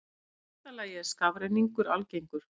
Í fyrsta lagi er skafrenningur algengur.